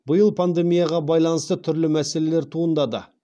биыл пандемияға байланысты түрлі мәселелер туындады